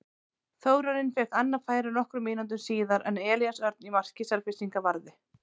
Þórarinn fékk annað færi nokkrum mínútum síðar en Elías Örn í marki Selfyssinga varði.